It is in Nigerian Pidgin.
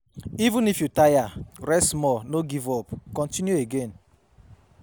Even if you tire rest small no give up, continue again